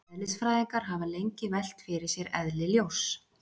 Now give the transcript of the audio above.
Eðlisfræðingar hafa lengi velt fyrir sér eðli ljóss.